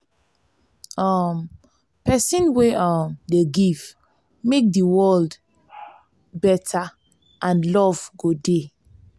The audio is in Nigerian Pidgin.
um pesin wey um dey give mek di world beta and luv go dey.